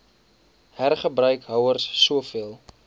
hergebruik houers soveel